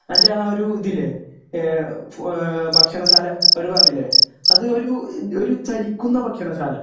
അൻ്റെ ആ ഒരു ഇതില്ലേ ഏഹ് ഫു ഏഹ് ഭക്ഷണശാല ഒരു പറഞ്ഞില്ലേ അത് ഒരു ഒരു ചലിക്കുന്ന ഭക്ഷണശാല